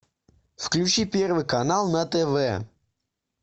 включи первый канал на тв